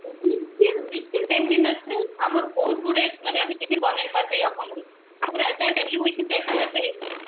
ହଁ sure ten minute ରେ ଆମର ବହୁତ ଗୁଡେ ମାନେ ଆମେ tiffin ବନେଇ ପାରିବା ଏଇ ଅପମ ରୁ ଆମର ପୁର entire family within ten minute ରେ ହେଇଯିବ